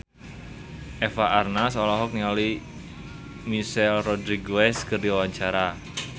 Eva Arnaz olohok ningali Michelle Rodriguez keur diwawancara